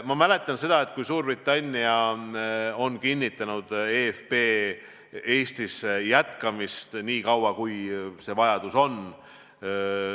Ma mäletan, et Suurbritannia on kinnitanud eFP Eestis jätkamist nii kaua, kui see vajadus on.